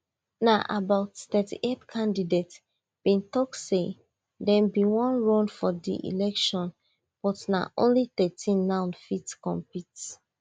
na about thirty-eight candidates bin tok say dem bin wan run for di election but na only thirteen now fit compete